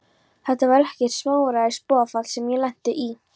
Þetta var ekkert smáræðis boðafall sem ég lenti í!